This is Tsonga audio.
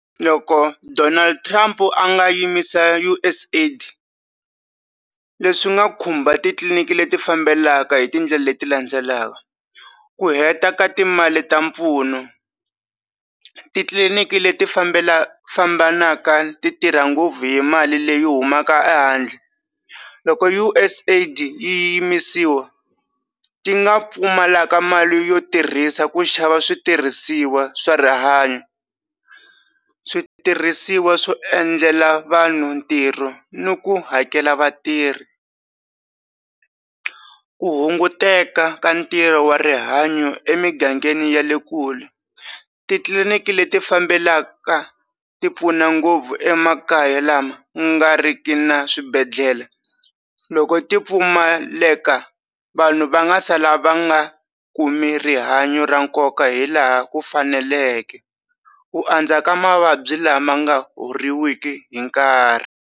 Loko Donald Trump a nga yimisa USA_ID leswi nga khumba titliliniki leti fambelanaka hi tindlela leti landzelaka ku heta ka timali ta mpfuno titliliniki leti fambelanaka fambanaka ti tirha ngopfu hi mali leyi humaka ehandle loko USA_ID yi yimisiwa ti nga pfumala ka mali yo tirhisa ku xava switirhisiwa swa rihanyo switirhisiwa swo endlela vanhu ntirho ni ku hakela vatirhi ku hunguteka ka ntirho wa rihanyo emingangeni ya le kule titliliniki leti fambelaka ti pfuna ngopfu emakaya lama nga riki na swibedhlele loko ti pfumaleka vanhu va nga sala va nga kumi rihanyo ra nkoka hilaha ku faneleke u andza ka mavabyi lama nga horiwiki hi nkarhi.